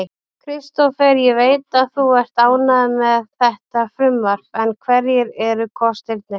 Kristófer, ég veit að þú ert ánægður með þetta frumvarp en hverjir eru kostirnir?